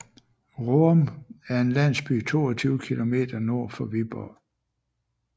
Roum er en landsby 22 kilometer nord for Viborg